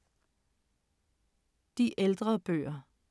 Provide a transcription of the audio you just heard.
De ældre bøger